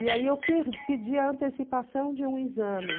E aí eu pedi a antecipação de um exame.